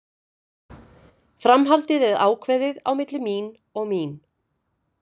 Framhaldið er ákveðið á milli mín og mín.